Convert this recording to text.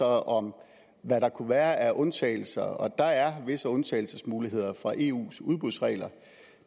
om hvad der kunne være af undtagelser der er visse undtagelsesmuligheder fra eus udbudsregler